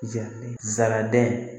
Jaraden